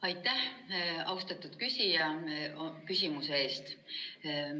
Aitäh, austatud küsija, küsimuse eest!